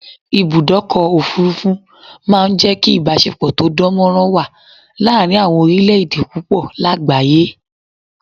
Ibùdọ́kọ̀ òfurufú ma n jẹ́ kí ìbáṣepọ̀ tó dánmọ́rán wà láàrin àwọn orílẹ̀ èdè púpọ̀ lágbàyé